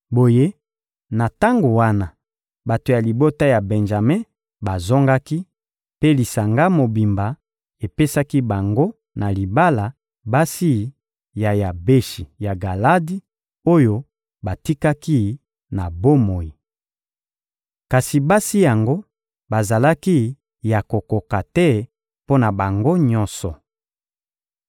Boye, na tango wana, bato ya libota ya Benjame bazongaki, mpe lisanga mobimba epesaki bango na libala, basi ya Yabeshi ya Galadi oyo batikaki na bomoi. Kasi basi yango bazalaki ya kokoka te mpo na bango nyonso.